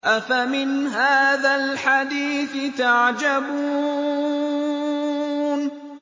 أَفَمِنْ هَٰذَا الْحَدِيثِ تَعْجَبُونَ